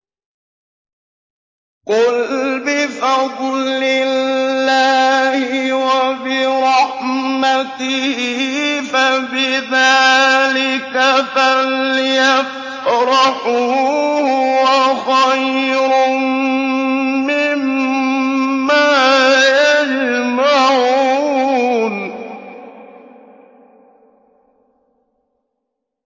قُلْ بِفَضْلِ اللَّهِ وَبِرَحْمَتِهِ فَبِذَٰلِكَ فَلْيَفْرَحُوا هُوَ خَيْرٌ مِّمَّا يَجْمَعُونَ